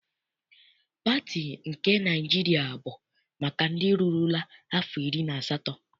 Pati nke Naịjiria bụ maka ndị rurula afọ iri na asatọ.